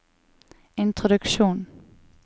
introduksjon